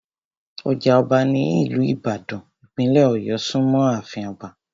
Ọjà ọba ní ìlú ìbàdàn, ìpínlẹ̀ ọ̀yọ́ súnmọ́ àfin Ọba